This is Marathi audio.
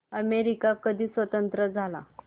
अमेरिका कधी स्वतंत्र झाला